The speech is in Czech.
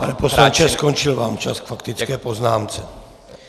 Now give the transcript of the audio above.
Pane poslanče, skončil vám čas k faktické poznámce.